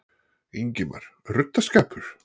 Ingimar: Ruddaskapur?